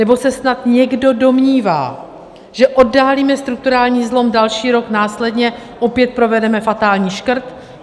Nebo se snad někdo domnívá, že oddálíme strukturální zlom, další rok následně opět provedeme fatální škrt?